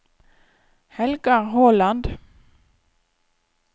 Helga Håland